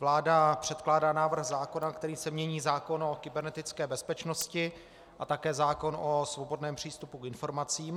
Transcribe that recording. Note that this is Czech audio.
Vláda předkládá návrh zákona, kterým se mění zákon o kybernetické bezpečnosti a také zákon o svobodném přístupu k informacím.